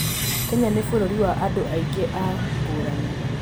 Kenya nĩ bũrũri wa andũ aingĩ na ngũrani.